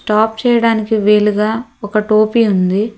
చేయడానికి వీలుగా ఒక టోపీ ఉంది.